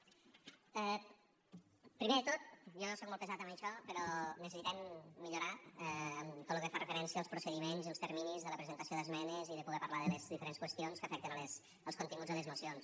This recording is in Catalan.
primer de tot jo sóc molt pesat amb això però necessitem millorar en tot lo que fa referència als procediments i els terminis de la presentació d’esmenes i de poder parlar de les diferents qüestions que afecten els continguts de les mocions